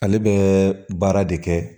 Ale bɛ baara de kɛ